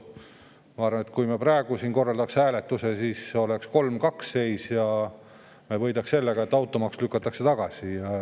Ma arvan, et kui me praegu siin korraldaks hääletuse, siis oleks seis 3 : 2 ja me võidaks sellega, et automaks lükatakse tagasi.